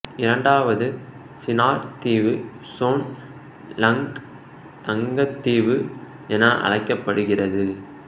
இரண்டாவது சினார் தீவு சோன் லங்க் தங்கத் தீவு என அழைக்கப்படுகிறது